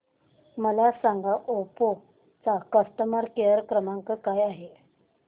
मला सांगा ओप्पो चा कस्टमर केअर क्रमांक काय आहे